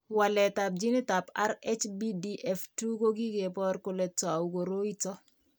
Waletab ginitab RHBDF2 ko kikebor kole tou koroi ito.